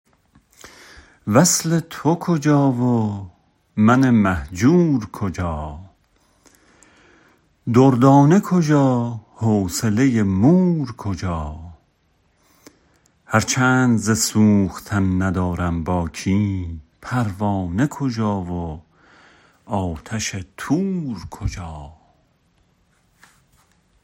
وصل تو کجا و من مهجور کجا دردانه کجا حوصله مور کجا هرچند ز سوختن ندارم باکی پروانه کجا و آتش طور کجا